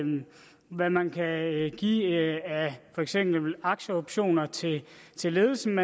hvad man kan give af for eksempel aktieoptioner til til ledelsen